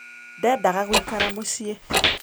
Ndendaga gũikara mũciĩ.